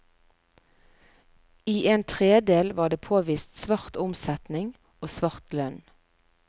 I en tredel var det påvist svart omsetning og svart lønn.